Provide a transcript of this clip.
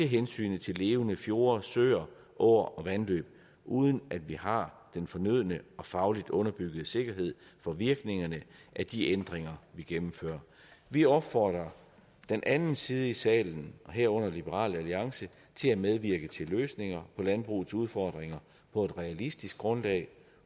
hensyn til levende fjorde søer åer og vandløb uden at vi har den fornødne og fagligt underbyggede sikkerhed for virkningerne af de ændringer vi gennemfører vi opfordrer den anden side i salen herunder liberal alliance til at medvirke til løsninger på landbrugets udfordringer på et realistisk grundlag